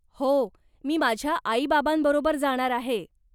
हो, मी माझ्या आई बाबांबरोबर जाणार आहे.